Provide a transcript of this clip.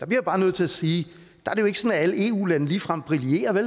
bliver bare nødt til at sige at at alle eu lande ligefrem brillerer der